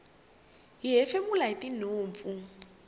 hi hefemula hitinhompfu